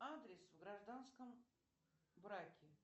адрес в гражданском браке